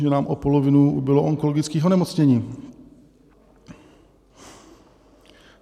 Že nám o polovinu ubylo onkologických onemocnění?